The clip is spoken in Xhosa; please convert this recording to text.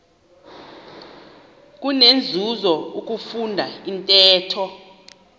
kunenzuzo ukufunda intetho